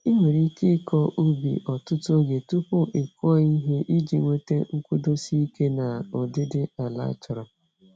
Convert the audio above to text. Ị nwere ike ịkọ ubi ọtụtụ oge tupu ị kụọ ihe iji nweta nkwụdosi ike na ụdịdị ala achọrọ.